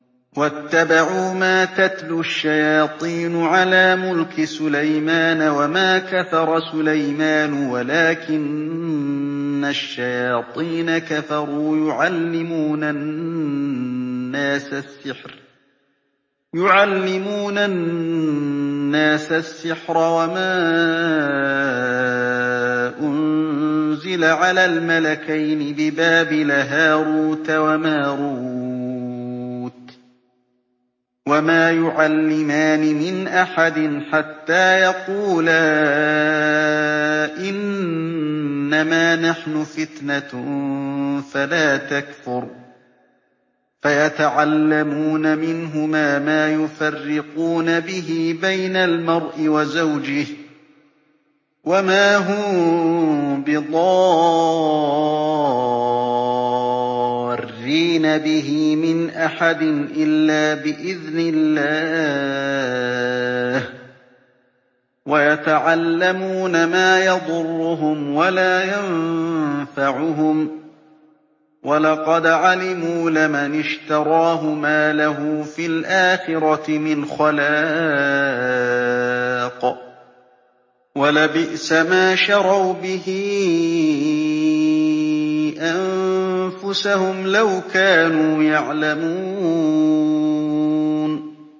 وَاتَّبَعُوا مَا تَتْلُو الشَّيَاطِينُ عَلَىٰ مُلْكِ سُلَيْمَانَ ۖ وَمَا كَفَرَ سُلَيْمَانُ وَلَٰكِنَّ الشَّيَاطِينَ كَفَرُوا يُعَلِّمُونَ النَّاسَ السِّحْرَ وَمَا أُنزِلَ عَلَى الْمَلَكَيْنِ بِبَابِلَ هَارُوتَ وَمَارُوتَ ۚ وَمَا يُعَلِّمَانِ مِنْ أَحَدٍ حَتَّىٰ يَقُولَا إِنَّمَا نَحْنُ فِتْنَةٌ فَلَا تَكْفُرْ ۖ فَيَتَعَلَّمُونَ مِنْهُمَا مَا يُفَرِّقُونَ بِهِ بَيْنَ الْمَرْءِ وَزَوْجِهِ ۚ وَمَا هُم بِضَارِّينَ بِهِ مِنْ أَحَدٍ إِلَّا بِإِذْنِ اللَّهِ ۚ وَيَتَعَلَّمُونَ مَا يَضُرُّهُمْ وَلَا يَنفَعُهُمْ ۚ وَلَقَدْ عَلِمُوا لَمَنِ اشْتَرَاهُ مَا لَهُ فِي الْآخِرَةِ مِنْ خَلَاقٍ ۚ وَلَبِئْسَ مَا شَرَوْا بِهِ أَنفُسَهُمْ ۚ لَوْ كَانُوا يَعْلَمُونَ